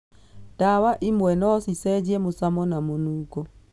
Ndawa imwe no cicenjie mũcamo na mũnungo.